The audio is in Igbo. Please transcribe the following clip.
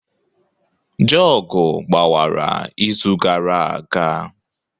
Jugu gbawara izu gara aga.